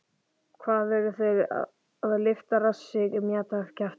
Hvað eru þeir að lyfta rassi og mjamta kjafti?!